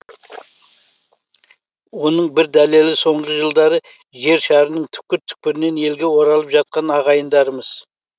оның бір дәлелі соңғы жылдары жер шарының түкпір түкпірінен елге оралып жатқан ағайындарымыз